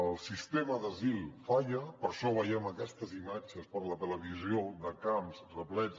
el sistema d’asil falla per això veiem aquestes imatges per la televisió de camps replets